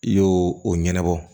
I y'o o ɲɛnabɔ